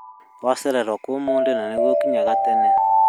Wacererwo kũũ ũmũthĩ na nĩguo ũkinyaga tene?